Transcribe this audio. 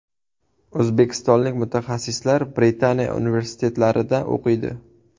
O‘zbekistonlik mutaxassislar Britaniya universitetlarida o‘qiydi.